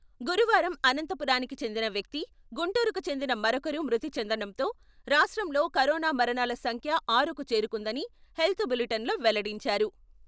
గురువారం అనంతపురానికి చెందిన వ్యక్తి, గుంటూరుకు చెందిన మరొకరు మృతి చెందడంతో రాష్ట్రంలో కరోనా మరణాల సంఖ్య ఆరుకు చేరుకుందని హెల్త్ బులిటెన్‌లో వెల్లడించారు.